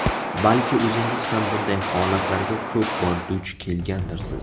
Balki o‘zingiz ham bunday holatlarga ko‘p bor duch kelgandirsiz?